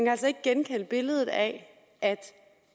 altså ikke genkende billedet af at